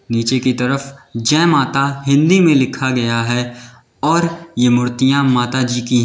नीचे की तरफ जय माता हिंदी में लिखा गया है और ये मूर्तियां माता जी की हैं।